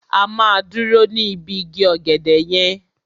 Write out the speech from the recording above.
A máa dúró ní ibi igi ọ̀gẹ̀dẹ̀ yẹn.